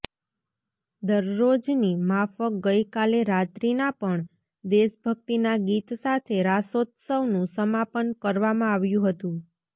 દરરોજની માફક ગઈકાલે રાત્રીના પણ દેશભકિતના ગીત સાથે રાસોત્સવનું સમાપન કરવામાં આવ્યું હતું